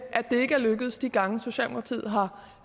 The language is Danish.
det ikke er lykkedes de gange socialdemokratiet har